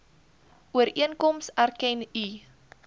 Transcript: ooreenkoms erken u